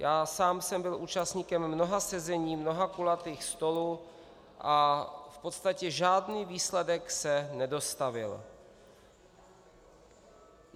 Já sám jsem byl účastníkem mnoha sezení, mnoha kulatých stolů a v podstatě žádný výsledek se nedostavil.